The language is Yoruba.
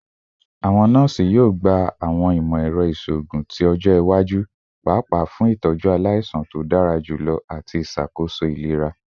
Awọn nọọsi yoo gba awọn imọ-ẹrọ iṣoogun ti ọjọ iwaju fun paapaa itọju alaisan to dara julọ ati iṣakoso ilera